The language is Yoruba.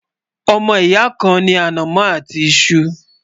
ọmọ ìyà kàn ní anamó àti iṣu